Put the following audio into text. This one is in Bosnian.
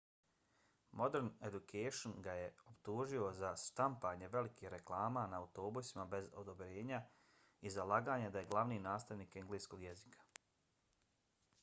modern education ga je optužio za štampanje velikih reklama na autobusima bez odobrenja i za laganje da je glavni nastavnik engleskog jezika